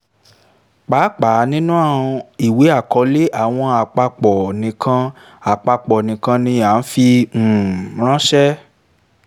pàápàá nínú ìwé àkọọ́lẹ̀ àwọn àpapọ̀ nìkan àpapọ̀ nìkan ni a fi um ránṣẹ́